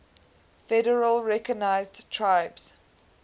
federally recognized tribes